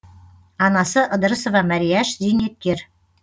анасы ыдырысова мәрияш зейнеткер